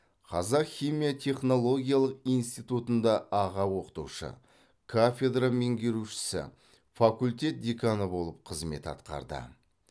қазақ химия технологиялық институтында аға оқытушы кафедра меңгерушісі факультет деканы болып қызмет атқарды